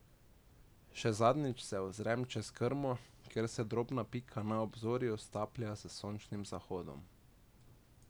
Še zadnjič se ozrem čez krmo, kjer se drobna pika na obzorju staplja s sončnim zahodom.